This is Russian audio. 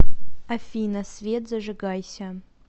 афина свет зажигайся